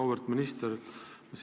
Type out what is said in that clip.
Auväärt minister!